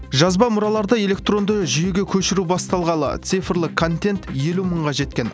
жазба мұраларды электронды жүйеге көшіру басталғалы цифрлы контент елу мыңға жеткен